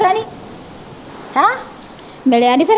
ਮਿਲਿਆ ਨਹੀਂ ਫਿਰ